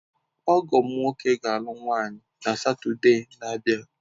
Ọgọ m nwoke ga-alụ nwanyị na Satọde na-abịa.